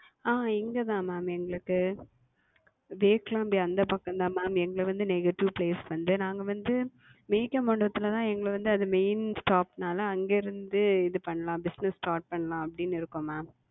ஆஹ் இங்க தான் Ma'am எங்களுக்கு வியட்கம அந்த பக்கம் தான் Ma'am. எங்கள்து வந்து Native Place வந்து நாங்க வந்து வியட்கம் மண்டபத்தில் தான் எங்கள்து வந்து Main Stop னால அங்கே இருந்து இது பண்ணலாம் BussinessStart பண்ணலாம் அப்டின்னு இருக்கோம் Ma'am.